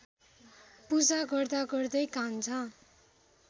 पूजा गर्दागर्दै कान्छा